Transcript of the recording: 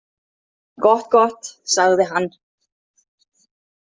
Gott, gott, sagði hann.